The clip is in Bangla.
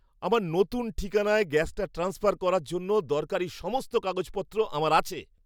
আমার নতুন ঠিকানায় গ্যাসটা ট্রান্সফার করার জন্য দরকারি সমস্ত কাগজপত্র আমার আছে।